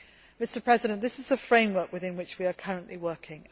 Mr President, this is the framework within which we are currently working.